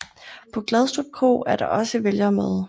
På Gadstrup Kro er der også vælgermøde